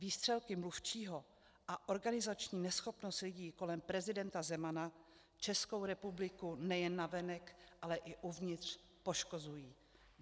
Výstřelky mluvčího a organizační neschopnost lidí kolem prezidenta Zemana Českou republiku nejen navenek, ale i uvnitř, poškozují.